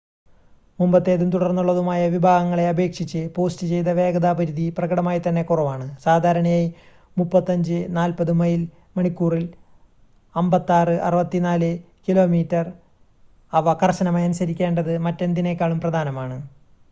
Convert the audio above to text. മുമ്പത്തേതും തുടർന്നുള്ളതുമായ വിഭാഗങ്ങളെ അപേക്ഷിച്ച് പോസ്റ്റ് ചെയ്‌ത വേഗതാ പരിധി പ്രകടമായി തന്നെ കുറവാണ്. സാധാരണയായി 35-40 മൈൽ മണിക്കൂറിൽ 56-64 കിലോമീറ്റർ. അവ കർശനമായി അനുസിക്കേണ്ടത് മറ്റെന്തിനേക്കാളും പ്രധാനമാണ്